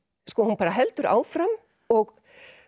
hún bara heldur áfram og